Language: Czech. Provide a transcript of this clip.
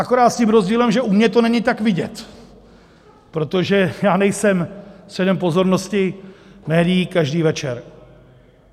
Akorát s tím rozdílem, že u mě to není tak vidět, protože já nejsem středem pozornosti médií každý večer.